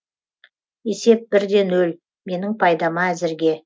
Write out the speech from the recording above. есеп бір де ноль менің пайдама әзірге